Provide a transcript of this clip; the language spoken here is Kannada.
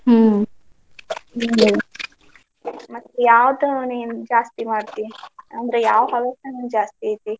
ಹ್ಮ್ ಹ್ಮ್ ಮತ್ತ್ ಯಾವದ್ನ್ ನೀನ್ ಜಾಸ್ತಿ ಮಾಡ್ತಿಅಂದ್ರೆ ಯಾವ ಹವ್ಯಾಸ ನಿಂಗೆ ಜಾಸ್ತಿ ಐತಿ?